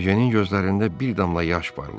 Ejenin gözlərində bir damla yaş parladı.